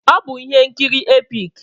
Ọ bụ ihe nkiri epik.